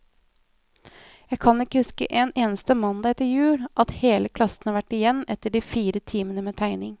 Jeg kan ikke huske en eneste mandag etter jul, at hele klassen har vært igjen etter de fire timene med tegning.